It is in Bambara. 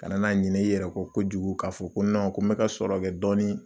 Kana n'a ɲinɛ i yɛrɛ kɔ kojugu ka fɔ ko ko n bɛ ka sɔrɔ kɛ dɔɔni